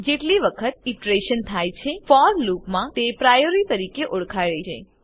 જેટલી વખત ઈટરેશન થાય છે ફોર લૂપમાં તેને પ્રાયોરી તરીકે ઓળખાય છે